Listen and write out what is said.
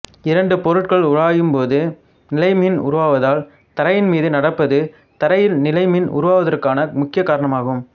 இரண்டு பொருட்கள் உராயும் போது நிலைமின் உருவாவதால் தரையின்மீது நடப்பது தரையில் நிலைமின் உருவாவதற்கான முக்கிய காரணம் ஆகும்